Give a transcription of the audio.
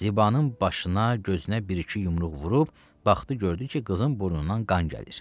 Zibanın başına gözünə bir-iki yumruq vurub, baxdı, gördü ki, qızın burnundan qan gəlir.